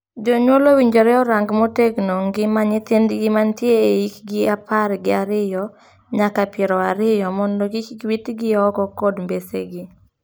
Jonyuol owinjore orang motegno ngima nyithindgi mantie e hikgi apar gi ariyo nyaka piero ariyo mondo kik witgi oko kod mbesegi.